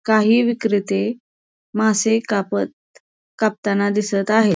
काही विक्रेते मासे कापत कापताना दिसत आहेत.